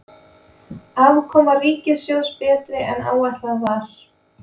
Afkoma ríkissjóðs betri en áætlað var